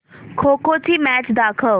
खो खो ची मॅच दाखव